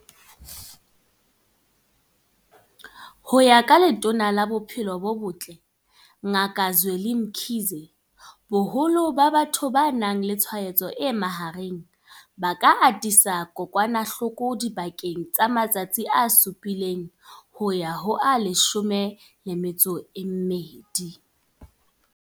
Ho ya ka Letona la Bophelo bo Botle Ngaka Zweli Mkhize, boholo ba batho ba nang le tshwaetso e mahareng ba ka atisa kokwanahloko dipakeng tsa matsatsi a supileng ho ya ho a 12.